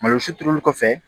Malo si turuli kɔfɛ